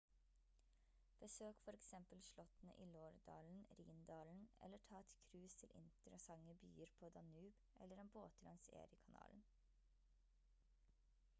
besøk for eksempel slottene i loire-dalen rhine-dalen eller ta et cruise til interessante byer på danube eller en båttur langs erie-kanalen